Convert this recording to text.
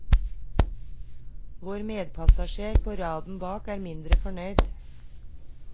Vår medpassasjer på raden bak er mindre fornøyd.